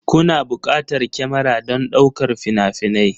Kuna buƙatar kyamara don ɗaukar fina-finai